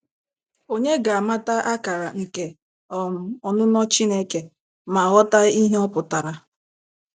Ònye ga-amata akara nke um ọnụnọ Chineke ma ghọta ihe ọ pụtara?